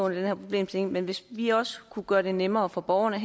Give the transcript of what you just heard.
her problemstilling men hvis vi også kunne gøre det nemmere for borgerne